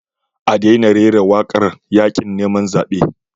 A daina rera wakar yakin neman zabe.